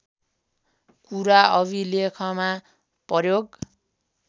कुरा अभिलेखमा प्रयोग